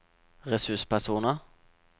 ressurspersoner